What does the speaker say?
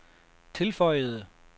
tilføjede